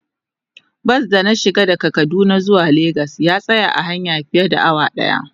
Bas da na shiga daga kaduna zuwa lagos ya tsaya a hanya fiye da awa daya.